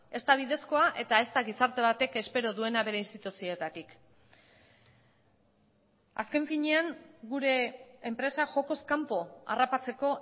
ez da bidezkoa eta ez da gizarte batek espero duena bere instituzioetatik azken finean gure enpresa jokoz kanpo harrapatzeko